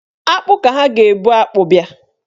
Akpụ ka ha ga-ebụ akpụ bịa.